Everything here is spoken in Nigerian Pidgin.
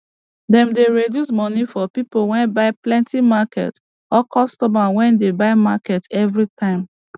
dem dey resduce moni for pipo wey buy plenty market or customer wey dey buy market evri time